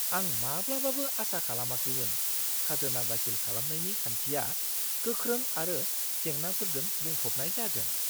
आं माब्लाबाबो आसा खालामाखैमोन खाजोना दाखिल खालामनायनि खान्थिया गोख्रों आरो जेंनाफोरजों बुंफबनाय जागोन!